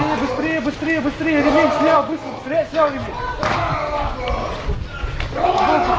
быстрей быстрей быстрей быстрей